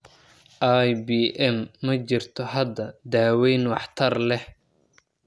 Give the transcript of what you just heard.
IBM ma jirto hadda daawayn waxtar leh.